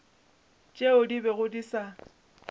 tšeo di bego di sa